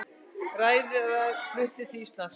Ræðarar fluttir til Íslands